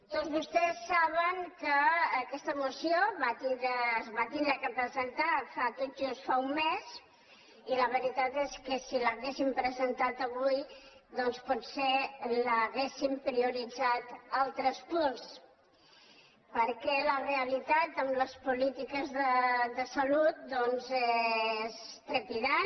tots vostès saben que aquesta moció es va haver de presentar tot just fa un mes i la veritat és que si l’ha·guéssim presentada avui doncs potser hauríem prio·ritzat altres punts perquè la realitat en les polítiques de salut doncs és trepidant